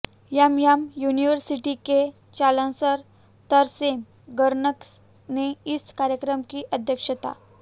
MM university के chancellor Tarsem Garg ने इस कार्यक्रम की अध्यक्षता